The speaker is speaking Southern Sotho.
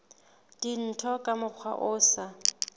dintho ka mokgwa o sa